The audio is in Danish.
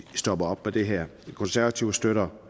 stopper op med det her de konservative støtter